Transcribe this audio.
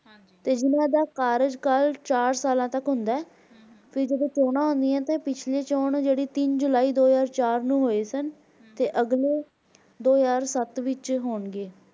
ਤੇ ਜਿਨਦਾ ਕਾਰੀਕਾਲ ਚਾਰ ਸਾਲਾਂ ਤਕ ਹੁੰਦਾ ਹੈ ਤੇ ਜਿਹੜੀਆਂ ਚੋਣਾਂ ਹਨ ਉਹ ਪਿਛਲੀ ਚੋਣ ਤੀਨ ਜੁਲਾਈ ਦੋ ਹਾਜ਼ਰ ਚਾਰ ਨੂੰ ਹੋਇਆਂ ਸਨ ਤੇ ਅਗਲੇ ਦੋ ਹਜ਼ਾਰ ਸੱਤ ਵਿਚ ਹੋਣਗੇ